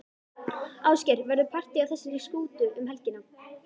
Ásgeir, verður partý á þessari skútu um helgina?